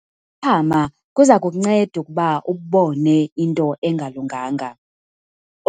Ukuphaphama kuza kukunceda ukuba ubone into engalunganga.